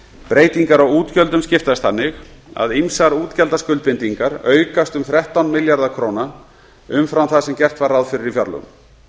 breytingar á útgjöldunum skiptast þannig að ýmsar útgjaldaskuldbindingar aukast um þrettán milljarða króna umfram það sem gert var ráð fyrir í fjárlögum